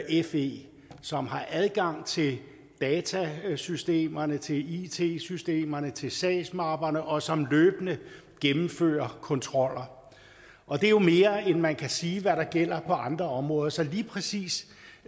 i fe som har adgang til datasystemerne til it systemerne til sagsmapperne og som løbende gennemfører kontroller og det er jo mere end hvad man kan sige gælder på andre områder så lige præcis